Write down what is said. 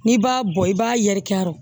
N'i b'a bɔ i b'a yɛrɛkɛ yɔrɔ